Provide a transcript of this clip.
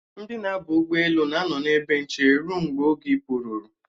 Ndi na-aba ụgbọelu na-anọ n'ebe nche ruo mgbe oge ịpụ ruru